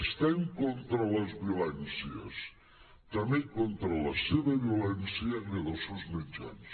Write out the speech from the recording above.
estem contra les violències i també contra la seva violència i la dels seus mitjans